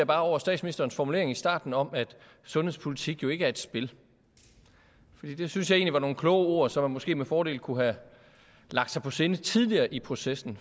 bare over statsministerens formulering i starten om at sundhedspolitik jo ikke er et spil det synes jeg egentlig var nogle kloge ord som man måske med fordel kunne have lagt sig på sinde tidligere i processen